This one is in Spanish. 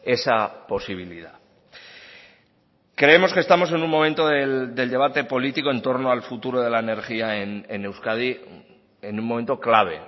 esa posibilidad creemos que estamos en un momento del debate político en torno al futuro de la energía en euskadi en un momento clave